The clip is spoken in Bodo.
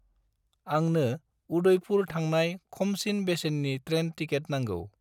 आंनो उदइपुर थांणाय खमसिन बेसेननि ट्रेन टिकेट नांगौ।